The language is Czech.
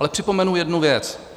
Ale připomenu jednu věc.